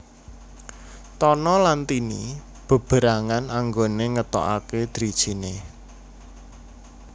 Tono lan Tini beberangan anggone ngetokake drijine